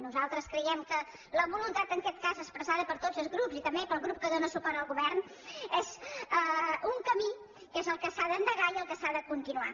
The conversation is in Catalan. nosaltres creiem que la voluntat en aquest cas expressada per tots els grups i també pel grup que dóna suport al govern és un camí que és el que s’ha d’endegar i el que s’ha de continuar